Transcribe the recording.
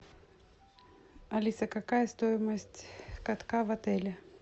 алиса какая стоимость катка в отеле